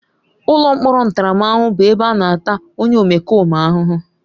Ụlọ mkpọrọ ntaramahụhụ bụ ebe a na-ata onye omekome ahụhụ.